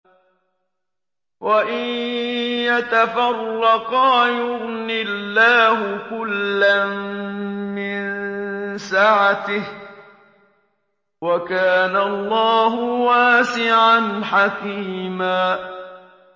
وَإِن يَتَفَرَّقَا يُغْنِ اللَّهُ كُلًّا مِّن سَعَتِهِ ۚ وَكَانَ اللَّهُ وَاسِعًا حَكِيمًا